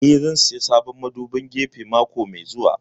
Eh, zan saya sabon madubin gefe mako mai zuwa